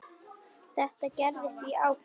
Þetta gerðist í ágúst.